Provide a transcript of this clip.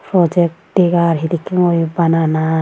Project degar hedekke gori banana.